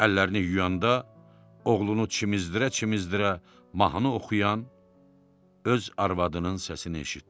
Əllərini yuyanda oğlunu çimizdirə-çimizdirə mahnı oxuyan öz arvadının səsini eşitdi.